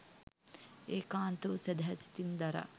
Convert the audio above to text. ඒකාන්ත වූ සැදැහැ සිතින් දරා